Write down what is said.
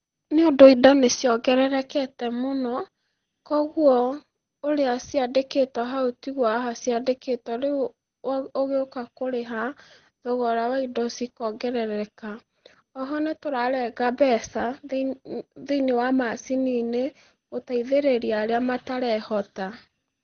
Nĩũndũ indo nĩciongererekete mũno, koguo, ũrĩa ciandĩkĩtwo hau tiguo haha ciandĩkĩtwo rĩu, ũgĩũka kũrĩha, thogora wa indo cikongerereka, oho nĩtũrarenga mbeca thĩ thĩ-inĩ wa macini-inĩ, gũteithĩrĩria arĩa matarehota.